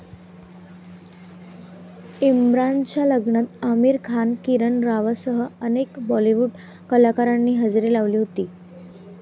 इम्रानच्या लग्नात आमिर खान, किरण रावसह अनेक बॉलिवूड कलाकारांनी हजेरी लावली होती.